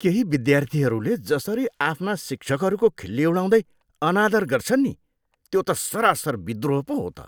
केही विद्यार्थीहरूले जसरी आफ्ना शिक्षकहरूको खिल्ली उडाउँदै अनादर गर्छन् नि त्यो त सरासर विद्रोह पो हो त।